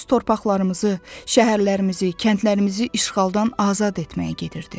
Öz torpaqlarımızı, şəhərlərimizi, kəndlərimizi işğaldan azad etməyə gedirdi.